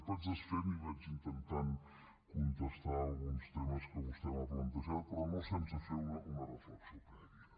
vaig desfent i vaig intentant contestar alguns temes que vostè m’ha plantejat però no sense fer una reflexió prèvia